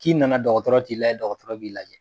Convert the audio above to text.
K'i nana dɔgɔtɔrɔ t'i lajɛ, dɔgɔtɔrɔ b'i lajɛ.